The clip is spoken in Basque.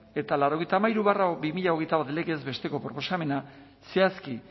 eta laurogeita hamairu barra bi mila hogeita bat legez besteko proposamena zehazki